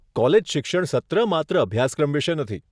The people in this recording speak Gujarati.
કોલેજ શિક્ષણ સત્ર માત્ર અભ્યાસક્રમ વિશે નથી.